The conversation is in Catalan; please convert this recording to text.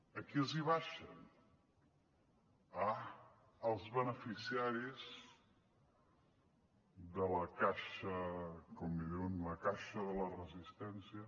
a qui els abaixen ah als beneficiaris de la caixa com en diuen la caixa de resistència